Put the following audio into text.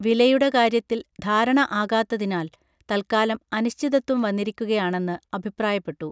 വിലയുടെ കാര്യത്തിൽ ധാരണ ആകാത്തതിനാൽ തൽക്കാലം അനിശ്ചിതത്വം വന്നിരിക്കുകയാണെന്ന് അഭിപ്രായപ്പെട്ടു